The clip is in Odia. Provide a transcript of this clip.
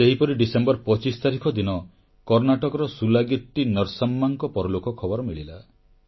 ସେହିପରି ଡିସେମ୍ବର 25 ତାରିଖ ଦିନ କର୍ଣ୍ଣାଟକର ସୁଲାଗିଟ୍ଟି ନର୍ସମ୍ମାଙ୍କ ପରଲୋକ ଖବର ମିଳିଲା